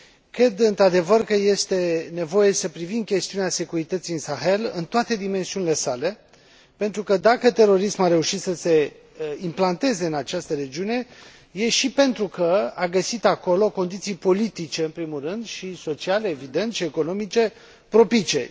Cred, într adevăr, că este nevoie să privim chestiunea securității în Sahel în toate dimensiunile sale, pentru că, dacă terorismul a reușit să se implanteze în această regiune, e și pentru că a găsit acolo condiții politice, în primul rând și sociale, evident, și economice propice.